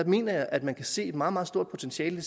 mener jeg at man kan se et meget meget stort potentiale